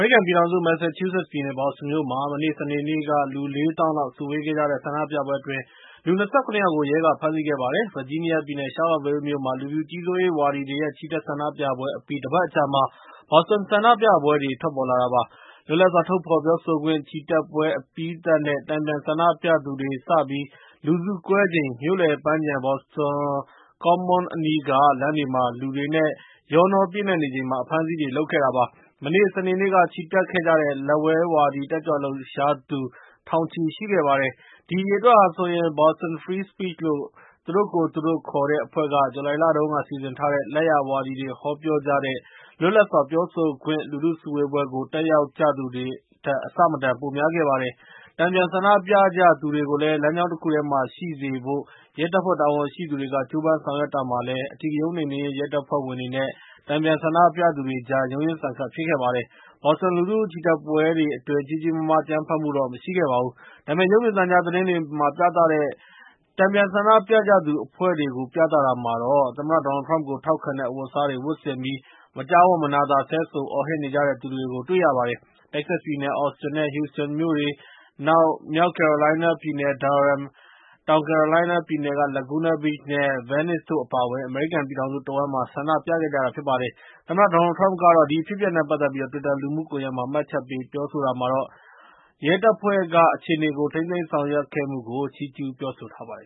ရိကန် ပြည်ထောင်စု မန်ဆာချူးဆက် ပြည်နယ် ဘော့စတွန်မြို့မှာ မနေ့ စနေနေ့က လူ ၄ သောင်းလောက် စုဝေးခဲ့ကြတဲ့ ဆန္ဒပြပွဲတွေအတွင်း လူ ၂၇ ယောက်ကို ရဲက ဖမ်းဆီးခဲ့ပါတယ်။ ဗာဂျီးနီးယား ပြည်နယ် ရှားလော့ဗေးလ်းမြို့မှာ လူဖြူကြီးစိုးရေး ဝါဒီတွေရဲ့ ချီတက်ဆန္ဒပြပွှဲ အပြီး တပတ်အကြာမှာ ဘော့စတွန် ဆန္ဒပြပွဲတွေ ထွက်ပေါ်လာတာပါ။ လွတ်လပ်စွာ ထုတ်ဖော်ပြောဆိုခွင့် ချီတက်ပွဲ အပြီးသတ်နဲ့ တန်ပြန်ဆန္ဒပြသူတွေ စပြီး လူစုကွဲချိန် မြို့လယ် ပန်းခြံ ဘော့စတွန် ကွန်မွန်းအနီးက လမ်းတွေမှာ လူတွေနဲ့ ရောနှော ပြည့်နှက်နေချိန်မှာ အဖမ်းအဆီးတွေ လုပ်ခဲ့တာပါ။ မနေ့ စနေနေ့က ချီတက်ခဲ့ကြတဲ့ လက်ဝဲဝါဒီ တက်ကြွလှုပ်ရှားသူ ထောင်ချီ ရှိခဲ့ပါတယ်။ ဒီအရေအတွက်ဟာဆိုရင် Boston Free Speech လို့ သူတို့ကိုယ်သူတို့ ခေါ်တဲ့ အဖွဲ့က ဇူလိုင်လတုန်းက စီစဉ်ထားတဲ့ လက်ယာဝါဒီတွေ ဟောပြောကြတဲ့ လွတ်လပ်စွာ ပြောဆိုခွင့် လူထု စုဝေးပွဲကို တက်ရောက်ကြသူတွေထက် အဆမတန် ပိုများခဲ့ပါတယ်။ တန်ပြန်ဆန္ဒပြကြသူတွေကို လမ်းကြောင်းတခုတည်းမှာ ရှိစေဖို့ ရဲတပ်ဖွဲ့ တာဝန်ရှိသူတွေက ကြိုးပမ်းဆောင်ရွက်တာမှာလည်း အဓိကရုဏ်း နှိမ်နင်းရေး ရဲတပ်ဖွဲ့ဝင်တွေနဲ့ တန်ပြန်ဆန္ဒပြကြသူတွေကြား ရုန်းရင်းဆန်ခတ် ဖြစ်ခဲ့ပါတယ်။ ဘော့စတွန် လူထု ချီတက်ပွဲတွေ အတွင်း ကြီးကြီးမားမား အကြမ်းဖက်မှုတွေတော့ မရှိခဲ့ပါဘူး။ ဒါပေမယ့် ရုပ်မြင်သံကြား သတင်းတွေမှာ ပြသကြတဲ့ တန်ပြန်ဆန္ဒပြကြသူ အဖွဲ့တွေကို ပြသတာမှာတော့ သမ္မတ Donald Trump ကို ထောက်ခံတဲ့ အဝတ်အစားတွေ ဝတ်ဆင်ပြီး မကြားဝံ့မနာသာ ဆဲဆိုအော်ဟစ်နေကြတဲ့ သူတွေကိုလည်း တွေ့ရပါတယ်။ တက္ကဆက် ပြည်နယ် အော်စတင်နဲ့ ဟူစတန်မြို့တွေ၊ နောက် မြောက် ကယ်ရိုလိုင်းနားပြည်နယ် Durham၊ နောက် တောင်ကယ်ရိုလိုင်နား ပြည်နယ်က Laguna Beach နဲ့ Venice တို့ အပါအဝင် အမေရိကန် ပြည်ထောင်စု တဝန်းမှာ ဆန္ဒပြကြပါတယ်။ သမ္မတ Doanld Trump ကတော့ ဒီအဖြစ်အပျက်နဲ့ ပတ်သက်ပြီး တွစ်တာ လူမှုကွန်ယက်မှာ မှတ်ချက်ပေး ပြောဆိုတာမှာတော့ ရဲ့ ရဲတပ်ဖွဲ့ဘက်က အခြေအနေကို ထိန်းသိမ်းဆောင်ရွက်ခဲ့မှုကို ချီးကျူးပြောဆိုထားပါတယ်